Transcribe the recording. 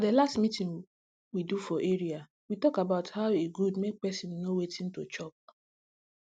for the last meeting we do for area we talk about hoe e good make person know wetin to chop